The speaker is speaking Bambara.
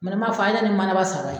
ni n man fɔ a ye na ni manaba saba ye.